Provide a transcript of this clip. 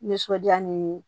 Nisɔndiya ni